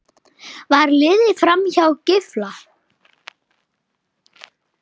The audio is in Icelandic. Var litið framhjá Gylfa?